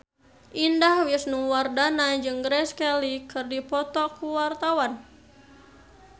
Indah Wisnuwardana jeung Grace Kelly keur dipoto ku wartawan